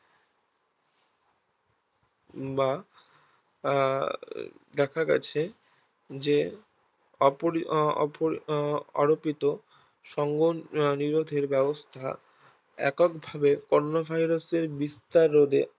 বা আহ দেখা গেছে যে সংগন নিরোধের ব্যাবস্থা এককভাবে কোরোনা Virus এর বিস্তার রোধে আরো